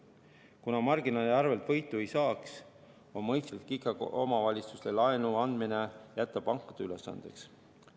Kuna marginaali arvelt võitu ei saaks, on ikkagi mõistlik jätta omavalitsustele laenu andmine pankade ülesandeks.